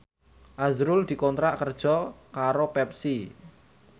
azrul dikontrak kerja karo Pepsi